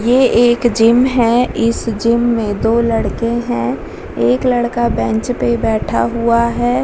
ये एक जिम है इस जिम में दो लड़के हैं एक लड़का बेंच पे बैठा हुआ है।